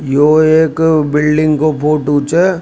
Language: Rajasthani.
यो एक बिल्डिंग का फोटो छ।